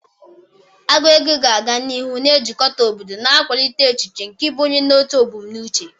Agụ egwu ga-aga n'ihu na-ejikọta obodo, na-akwalite echiche nke ịbụ onye na otu ebumnuche.